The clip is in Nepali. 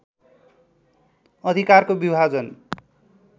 अधिकारको विभाजन